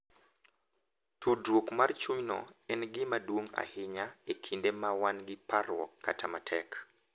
Tudruok mar chunyno en gima duong’ ahinya e kinde ma wan gi parruok kata matek,